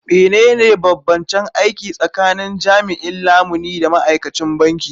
Menene bambancen aiki tsakanin jami'in lamuni da ma'aikacin banki?